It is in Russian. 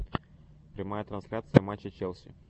прямая трансляция матча челси